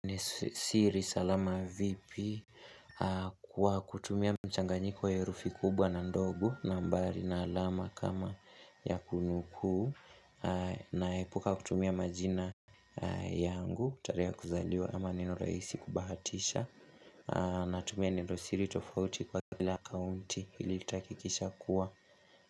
Nisiri salama vipi Kwa kutumia mchanganyiko herufi kubwa na ndogu na mbali na alama kama ya kunukuu naepuka kutumia majina yangu kutare ya kuzaliwa ama neno raisi kubahatisha natumia neno siri tofauti kwa kila akaunti ili takikisha kuwa.